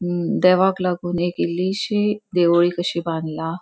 ह देवाक लागोन एक इल्लीशी देवळी कशी बांदला.